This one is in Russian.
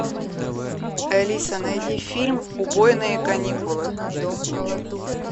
алиса найди фильм убойные каникулы